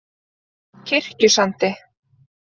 Kirkjusandi